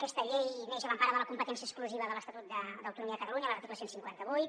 aquesta llei neix a l’empara de la competència exclusiva de l’estatut d’autonomia de catalunya de l’article cent i cinquanta vuit